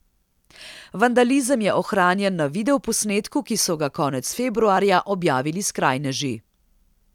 Vandalizem je ohranjen na video posnetku, ki so ga konec februarja objavili skrajneži.